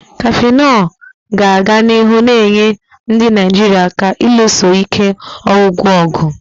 Cafenol ga-aga n'ihu na-enyere ndị Naijiria aka ịlụso ike ọgwụgwụ ọgụ.